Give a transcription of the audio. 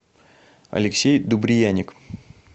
алексей дубрияник